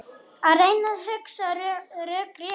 Að reyna að hugsa rökrétt